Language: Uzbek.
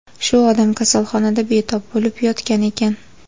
Shu odam kasalxonada betob bo‘lib yotgan ekan.